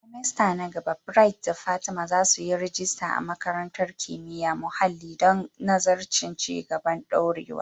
semester na gaba, Bright da Fatima za su yi rajista a Makarantar Kimiyyar Muhalli don nazarin Ci gaban Dorewa.